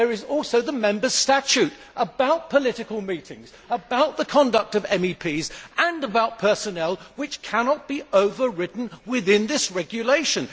There is also the Members' Statute about political meetings, about the conduct of MEPs and about personnel which cannot be overridden within this regulation.